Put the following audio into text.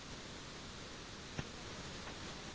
free ஆ phone அடிச்சா?